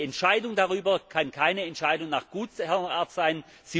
Aber die Entscheidung darüber kann keine Entscheidung nach Gutsherrenart sein